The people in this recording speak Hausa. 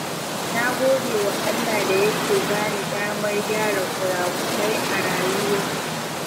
Na gode wa Allah da Yake bani damar gyara kurakurai a rayuwa.